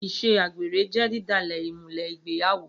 Iṣẹ àgbẹ́rẹ jẹ didàlẹ ìmúlẹ ìgbẹ́yàwó.